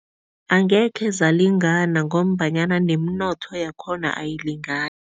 Angekhe zalingana ngombanyana nemnotho yakhona ayilingani.